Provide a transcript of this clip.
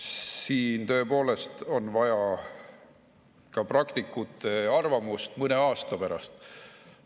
Siin tõepoolest on vaja ka praktikute arvamust mõne aasta pärast.